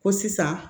Ko sisan